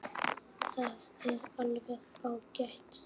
Það er alveg ágætt.